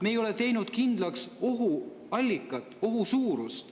Me ei ole teinud kindlaks ohu allikat ega ohu suurust.